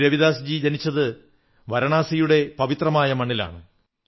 ഗുരു രവിദാസ്ജി ജനിച്ചത് വാരാണസിയുടെ പവിത്രമായ മണ്ണിലാണ്